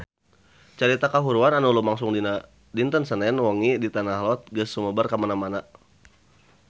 Carita kahuruan anu lumangsung dinten Senen wengi di Tanah Lot geus sumebar kamana-mana